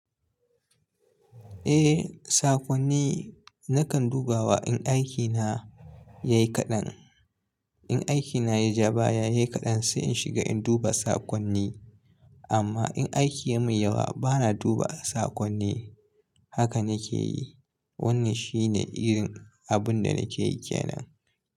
Eh, sakonni nakan duba wa in daki na ya yi kaɗan. In aikina ya ja baya, ya yi kaɗan sai in shiga in duba sakonni. Amma in aiki ya min yawa, bana duba sakonni. Haka nake yi. Wannan shine irin abun da nake yi ke nan.